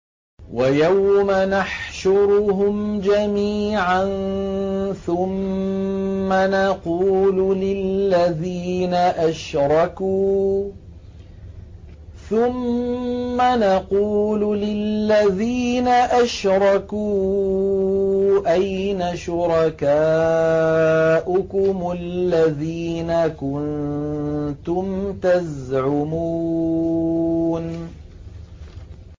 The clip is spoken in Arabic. وَيَوْمَ نَحْشُرُهُمْ جَمِيعًا ثُمَّ نَقُولُ لِلَّذِينَ أَشْرَكُوا أَيْنَ شُرَكَاؤُكُمُ الَّذِينَ كُنتُمْ تَزْعُمُونَ